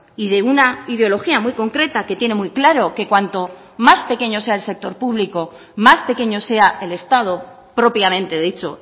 y de una ideología muy concreta que tiene muy claro que cuanto más pequeño sea el sector público más pequeño sea el estado propiamente dicho